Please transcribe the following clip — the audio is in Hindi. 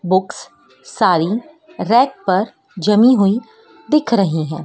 बुक्स सारी रैक पर जमी हुई दिख रही हैं।